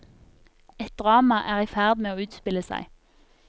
Et drama er i ferd med å utspille seg.